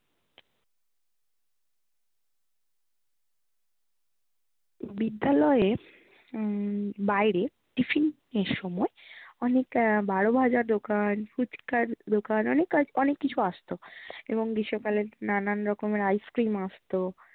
বিদ্যালয়ের উম বাইরে tiffin এর সময় অনেক উম বারো ভাজার দোকান ফুচকার দোকান অনেক কিছু আসতো এবং গ্রীষ্মকালে নানান রকমের ice-cream আসতো।